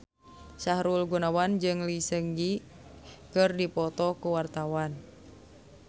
Sahrul Gunawan jeung Lee Seung Gi keur dipoto ku wartawan